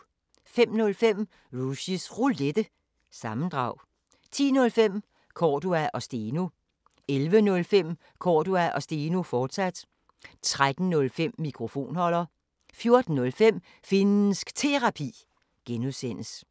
05:05: Rushys Roulette – sammendrag 10:05: Cordua & Steno 11:05: Cordua & Steno, fortsat 13:05: Mikrofonholder 14:05: Finnsk Terapi (G)